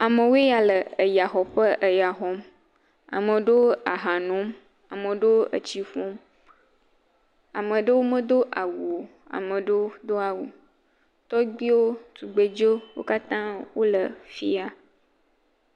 Amewoe ya le eyaxɔeƒe eya xɔm. Ame aɖewo aha nom, ame aɖewo etsi ƒum, ame aɖewo medo awu o, ame aɖewo doa wu. Tɔgbiwo, tugbedzewo wo katã woe fi ya.